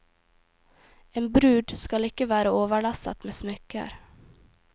En brud skal ikke være overlesset med smykker.